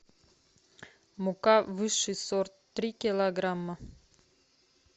мука высший сорт три килограмма